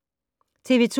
TV 2